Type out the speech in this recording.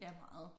Ja meget